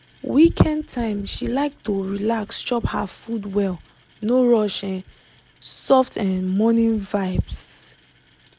weekend time she like to relax chop her food well no rush just um soft um morning vibes.